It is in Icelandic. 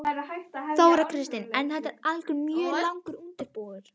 Þóra Kristín: En þetta er mjög langur undirbúningur?